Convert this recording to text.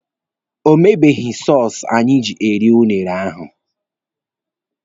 O mebeghi sọsụ anyị ji eri unere ahụ.